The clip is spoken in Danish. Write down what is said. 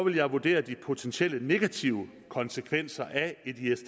jeg vurdere de potentielle negative konsekvenser af